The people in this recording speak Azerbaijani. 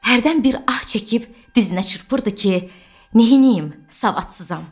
Hərdən bir ah çəkib dizinə çırpırdı ki, neyləyim, savadsızam.